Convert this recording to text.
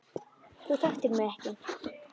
Þú þekktir mig ekki.